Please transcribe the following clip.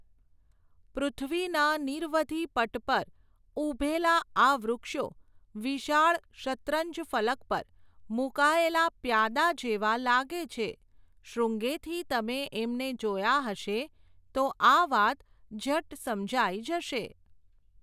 પૃથ્વીના નિરવધિ પટ પર, ઊભેલાં આ વૃક્ષો, વિશાળ શતરંજફલક પર, મૂકાયેલાં પ્યાદાં જેવાં લાગે છે, શૃંગેથી તમે એમને જોયાં હશે, તો આ વાત ઝટ સમજાઈ જશે.